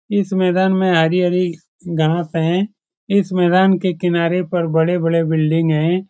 इस मैदान मे हरी-हरी घास है इस मैदान के किनारे पर बड़े-बड़े बिल्डिंग है ।